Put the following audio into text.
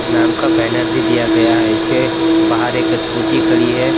नाम का बैनर भी दिया गया है इसके बाहर एक स्कूटी खड़ी है।